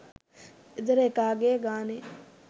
ගෙදර එකාගෙ ගානෙ